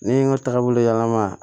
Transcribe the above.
Ne ye n ka taagabolo yɛlɛma